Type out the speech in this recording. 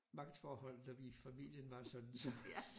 Magtforholdet når vi i familien var sådan så